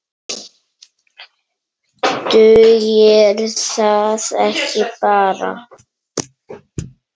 Dugir það ekki bara?